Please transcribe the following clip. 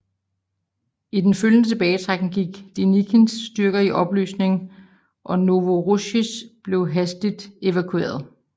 I den følgende tilbagetrækning gik Denikins styrker i opløsning og Novorossijsk blev hastigt evakueret